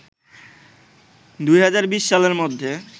২০২০ সালের মধ্যে